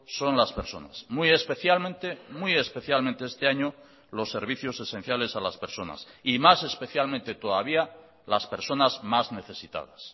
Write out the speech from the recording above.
son las personas muy especialmente muy especialmente este año los servicios esenciales a las personas y más especialmente todavía las personas más necesitadas